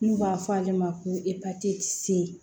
N'u b'a fɔ ale ma ko